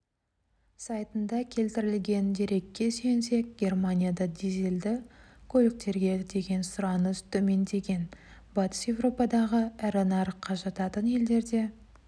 сайтында келтірілген дерекке сүйенсек германияда дизельді көліктерге деген сұраныс төмендеген батыс еуропадағы ірі нарыққа жататын елдерде